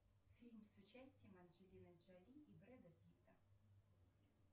фильм с участием анджелины джоли и брэда питта